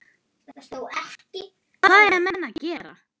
Hvað eiga menn að gera?